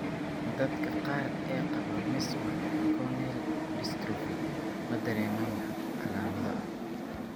Dadka qaar ee qaba Meesman corneal dystrophy ma dareemaan wax calaamado ah.